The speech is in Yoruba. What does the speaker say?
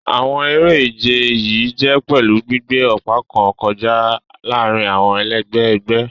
Àwọn eré-ìje yìí jè pèlú gbígbé òpa kàn kọjá láàrin àwọn ẹlègbé ègbé.